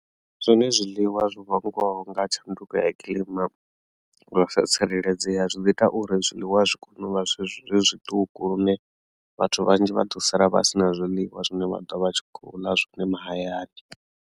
Zwone zwiḽiwa zwo vhangwaho nga tshanduko ya kilima zwi sa tsireledzea zwi ḓo ita uri zwiḽiwa zwi kone u vha zwithu zwi zwiṱuku lune vhathu vhanzhi vha ḓo sala vha si na zwiḽiwa zwine vha ḓo vha tshi khou ḽa zwine mahayani.